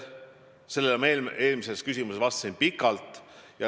Sellele ma eelmisele küsimusele vastates vastasin pikalt.